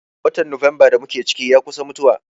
Watan Nuwamba da mu ke ciki, ya kusa mutuwa.